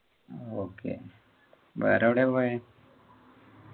ആഹ് okay വേറെ എവിടെ പോയെ